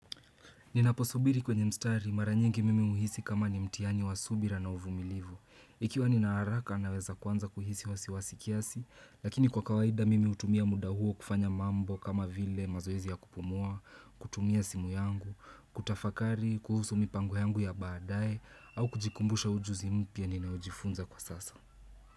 Ninaposubiri kwenye mstari mara nyingi mimi huhisi kama ni mtiani wa subira na uvumilivu. Ikiwa nina araka naweza kuanza kuhisi wasiwasi kiasi, lakini kwa kawaida mimi hutumia muda huo kufanya mambo kama vile mazoezi ya kupumua, kutumia simu yangu, kutafakari, kuhusu mipango yangu ya baadaye, au kujikumbusha ujuzi mpya ninaojifunza kwa sasa.